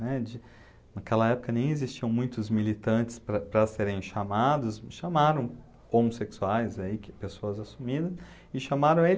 né, de... Naquela época nem existiam muitos militantes para para serem chamados, chamaram homossexuais aí, que pessoas assumindo, e chamaram ele.